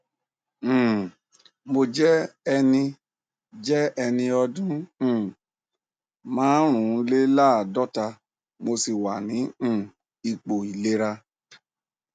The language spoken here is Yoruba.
um mo jẹ ẹni jẹ ẹni ọdún um márùnléláàádọta mo sì wà ní um ipò ìlera